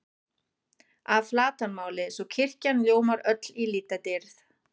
að flatarmáli, svo kirkjan ljómar öll í litadýrð.